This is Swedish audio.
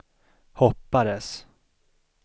hoppades